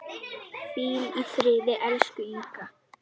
Hvíl í friði, elsku Inga.